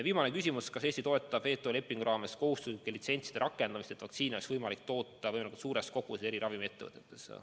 Viimane küsimus on, kas Eesti toetab WTO lepingu raames kohustuslike litsentside rakendamist, et vaktsiine oleks võimalik toota võimalikult suures koguses eri ravimiettevõtetes.